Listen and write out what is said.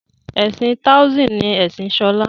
ẹsìn taoism ni Ẹsìn Shola.